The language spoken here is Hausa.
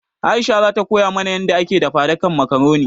Aisha zata koya mana yanda ake dafadikan makaroni